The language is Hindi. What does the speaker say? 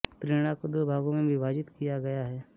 प्रेरणा को दो भागों में विभाजित किया गया है